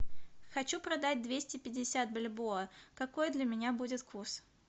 хочу продать двести пятьдесят бальбоа какой для меня будет курс